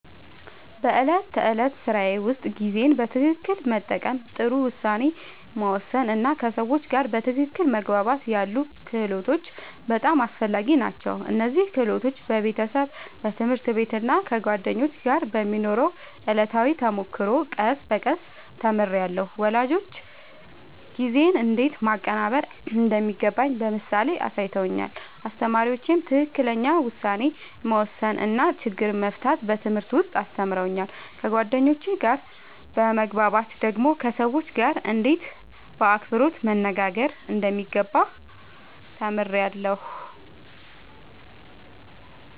በዕለት ተዕለት ሥራዬ ውስጥ ጊዜን በትክክል መጠቀም፣ ጥሩ ውሳኔ መወሰን እና ከሰዎች ጋር በትክክል መግባባት ያሉ ክህሎቶች በጣም አስፈላጊ ናቸው። እነዚህን ክህሎቶች በቤተሰብ፣ በትምህርት ቤት እና ከጓደኞች ጋር በሚኖረው ዕለታዊ ተሞክሮ ቀስ በቀስ ተምሬያለሁ። ወላጆቼ ጊዜን እንዴት ማቀናበር እንደሚገባ በምሳሌ አሳይተውኛል፣ አስተማሪዎቼም ትክክለኛ ውሳኔ መወሰን እና ችግር መፍታት በትምህርት ውስጥ አስተምረውኛል። ከጓደኞቼ ጋር በመግባባት ደግሞ ከሰዎች ጋርእንዴት በአክብሮት መነጋገር እንደሚገባ ተምሬያለሁ።